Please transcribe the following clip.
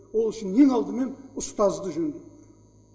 ол үшін ең алдымен ұстазды жөндеу